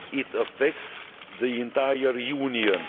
it affects the entire Union.